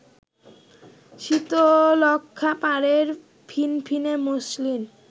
শীতলক্ষ্যাপাড়ের ফিনফিনে মসলিন